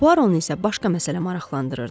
Puaronu isə başqa məsələ maraqlandırırdı.